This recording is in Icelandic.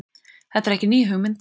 Þetta er ekki ný hugmynd